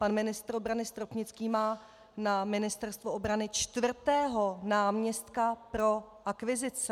Pan ministr obrany Stropnický má na Ministerstvu obrany čtvrtého náměstka pro akvizice.